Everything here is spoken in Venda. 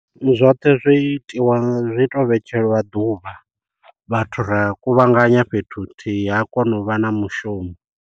Zwoṱhe zwi itiwa zwi to vhetshelwa ḓuvha vhathu ra kuvhanganya fhethu huthihi ha kona u vha na mushumo.